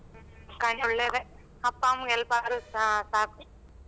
ಒಳ್ಳೇದೇ ಅಪ್ಪ ಅಮ್ಮಂಗೆ help ಆದ್ರ ಸಾಕು.